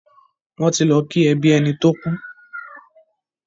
Wọ́n ti lọ kí ẹbí ẹni tó kú.